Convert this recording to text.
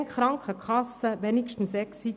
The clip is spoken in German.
Bezahlen die Krankenkassen dann zumindest Exit?